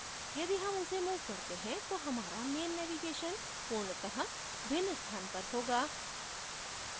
यदि हम उसे move करते हैं तो हमारा main navigation पूर्णत: भिन्न स्थान पर होगा